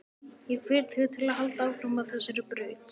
Ég hvet þig til að halda áfram á þessari braut.